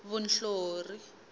vunhlori